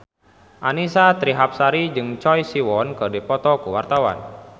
Annisa Trihapsari jeung Choi Siwon keur dipoto ku wartawan